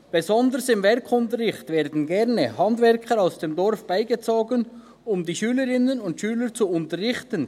Besonders im Werkunterricht werden gerne Handwerker aus dem Dorf beigezogen, um die Schülerinnen und Schüler zu unterrichten.